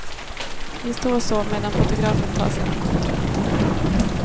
Vi står så medan fotografen tar sina kort.